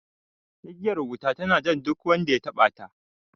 Igiyar wuta tana jan duk wanda ya taɓa ta